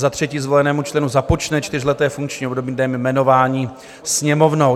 Za třetí, zvolenému členu započne čtyřleté funkční období dnem jmenování Sněmovnou.